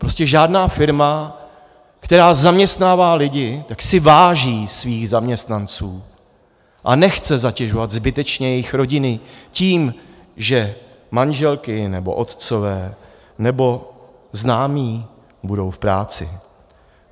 Prostě žádná firma, která zaměstnává lidi, tak si váží svých zaměstnanců a nechce zatěžovat zbytečně jejich rodiny tím, že manželky nebo otcové nebo známí budou v práci.